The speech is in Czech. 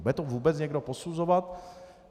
Bude to vůbec někdo posuzovat?